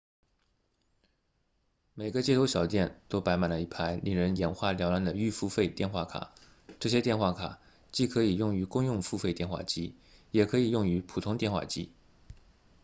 每个街头小店都摆满了一排令人眼花缭乱的预付费电话卡这些电话卡既可以用于公用付费电话机也可以用于普通电话机